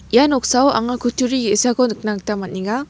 ia noksao anga kutturi ge·sako nikna gita man·enga.